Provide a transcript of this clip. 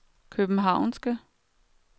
københavnske